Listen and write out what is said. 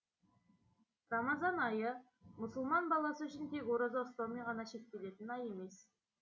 рамазан айы мұсылман баласы үшін тек ораза ұстаумен ғана шектелетін ай емес